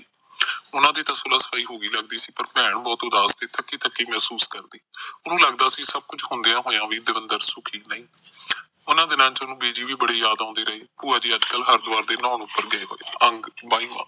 ਉਹਨਾਂ ਦੀ ਤਾ ਸੁਲਾਹ ਸਫਾਈ ਹੋ ਹੀ ਲੱਗਦੀ ਸੀ ਪਰ ਭੈਣ ਬਹੁਤ ਉਦਾਸ ਸੀ ਥਕੀ ਥਕੀ ਮਹਿਸੂਸ ਕਰਦੀ ਉਹਨੂੰ ਲੱਗਦਾ ਸੀ ਕਿ ਸਭ ਕੁਛ ਹੁੰਦਿਆਂ ਹੋਇਆ ਵੀ ਦੇਵਿੰਦਰ ਸੁਖੀ ਨਹੀਂ ਸੀ ਓਨਾ ਦਿਨਾਂ ਚ ਬਿ ਜੀ ਵੀ ਬੜੀ ਯਾਦਆਉਂਦੀ ਰਹੇ ਭੂਆ ਜੀ ਅੱਜ ਕੱਲ ਹਾਰੀਦਵਾਰ ਨਹਾਉਣ ਨੂੰ ਫਿਰਦੇ